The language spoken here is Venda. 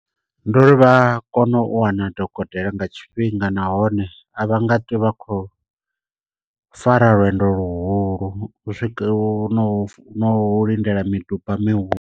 Ndi uri vha kono u wana dokotela nga tshifhinga nahone a vha nga ṱwo vha khou fara lwendo luhulu u u no no lindela miduba mihulu.